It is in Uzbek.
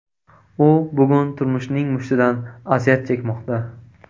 U bugun turmushning mushtidan aziyat chekmoqda.